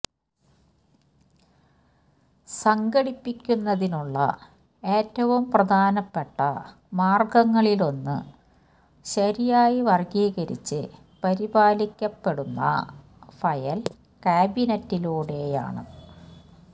സംഘടിപ്പിക്കുന്നതിനുള്ള ഏറ്റവും പ്രധാനപ്പെട്ട മാർഗങ്ങളിലൊന്ന് ശരിയായി വർഗ്ഗീകരിച്ച് പരിപാലിക്കപ്പെടുന്ന ഫയൽ കാബിനറ്റിലൂടെയാണ്